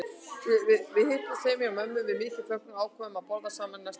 Við hittumst heima hjá mömmu við mikinn fögnuð og ákváðum að borða saman næsta kvöld.